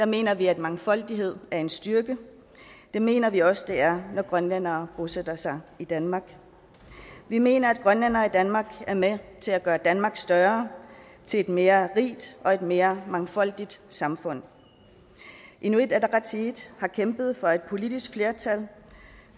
mener vi at mangfoldighed er en styrke det mener vi også det er når grønlændere bosætter sig i danmark vi mener at grønlændere i danmark er med til at gøre danmark større til et mere rigt og til et mere mangfoldigt samfund inuit ataqatigiit har kæmpet for et politisk flertal